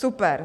Super.